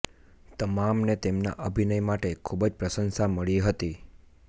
તમામને તેમના અભિનય માટે ખૂબ જ પ્રશંસા મળી હતી